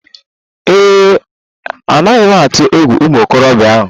Ee e, anaghị m atụ egwu ụmụ okorobịa ahụ.